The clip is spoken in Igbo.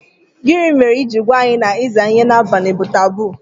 Gini mere i jiri gwa anyi na iza ihe n'abali bu taboo?